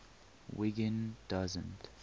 wiggin doesn t